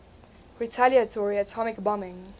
retaliatory atomic bombing